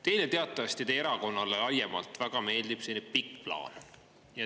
Teile teatavasti teie erakonnale laiemalt väga meeldib selline pikk plaan.